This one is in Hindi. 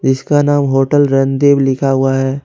इसका नाम होटल रणदीप लिखा हुआ है।